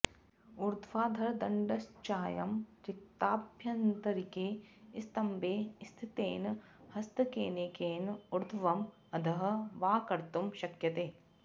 ऊर्ध्वाधरदण्डश्चायं रिक्ताभ्यन्तरिके स्तम्बे स्थितेन हस्तकेनैकेन ऊर्ध्वम् अधः वा कर्तुं शक्यते